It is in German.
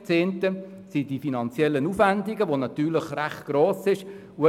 Der erste Grund sind die finanziellen Aufwendungen, die sehr gross wären.